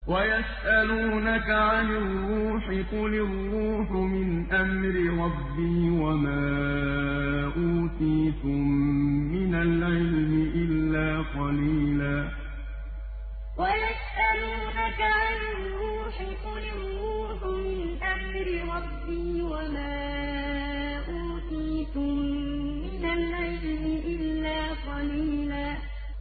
وَيَسْأَلُونَكَ عَنِ الرُّوحِ ۖ قُلِ الرُّوحُ مِنْ أَمْرِ رَبِّي وَمَا أُوتِيتُم مِّنَ الْعِلْمِ إِلَّا قَلِيلًا وَيَسْأَلُونَكَ عَنِ الرُّوحِ ۖ قُلِ الرُّوحُ مِنْ أَمْرِ رَبِّي وَمَا أُوتِيتُم مِّنَ الْعِلْمِ إِلَّا قَلِيلًا